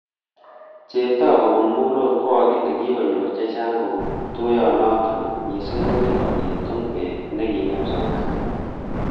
Cheptoo kobun mulot kokale kikonyor chechang kobun tuiyonoto missing kokingobit tungwek ne kingem somanet